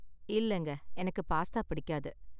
இல்லங்க, எனக்கு பாஸ்தா பிடிக்காது.